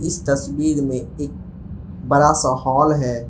इस तस्वीर में एक बड़ा सा हॉल है।